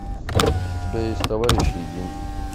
у тебя есть товарищи и деньги